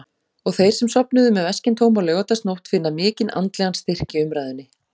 Og þeir sem sofnuðu með veskin tóm á laugardagsnótt finna mikinn andlegan styrk í umræðunni.